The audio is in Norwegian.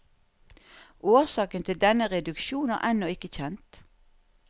Årsaken til denne reduksjon er ennå ikke kjent.